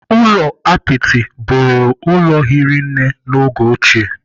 Ụlọ apịtị bụrụ ụlọ hiri nne n'oge ochie.